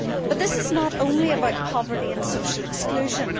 But this is not only about poverty and social exclusion.